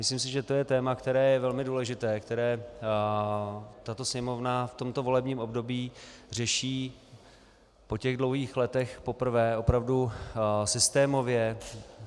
Myslím si, že je to téma, které je velmi důležité, které tato Sněmovna v tomto volebním období řeší po těch dlouhých letech poprvé opravdu systémově.